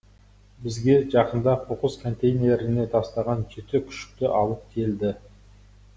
бізге жақында қоқыс контейнеріне тастаған жеті күшікті алып келді